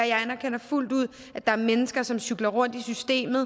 jeg anerkender fuldt ud at der er mennesker som cykler rundt i systemet